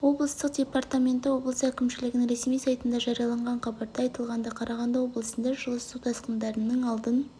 облыстық департаменті облыс әкімшілігінің ресми сайтында жарияланған хабарда айтылғандай қарағанды облысында жылы су тасқындарының алдын